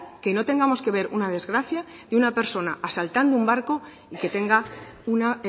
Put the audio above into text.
que no tengamos que ver una desgracia de una persona asaltando un barco y que tenga una